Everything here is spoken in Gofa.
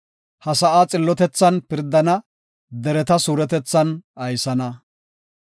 Ha sa7aa xillotethan pirdana; dereta suuretethan aysana.